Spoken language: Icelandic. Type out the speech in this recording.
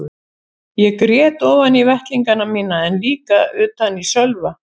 Ég grét ofan í vettlingana mína en líka utan í Sölva.